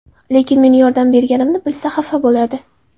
Lekin meni yordam berganimni bilsa, xafa bo‘ladi.